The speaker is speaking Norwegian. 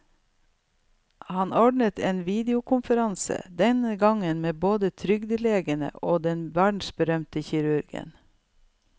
Han ordnet en ny videokonferanse, denne gang med både trygdelegene og den verdensberømte kirurgen.